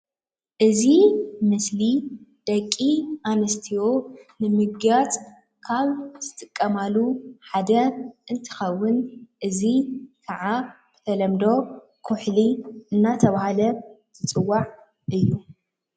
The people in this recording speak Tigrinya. እዚ ምስሊ ደቂ ኣንስትዮ ንምግያፅ ካብ ዝጥቀማሉ ሓደ እንትኸውን እዚ ካዓ ብተለምዶ ኩሕሊ እንዳተባሃለ ዝፅዋዕ እዩ፡፡